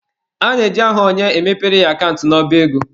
A na-eji aha onye, e mepere ya akant n'ọba ego.